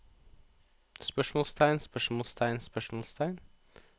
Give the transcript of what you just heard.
spørsmålstegn spørsmålstegn spørsmålstegn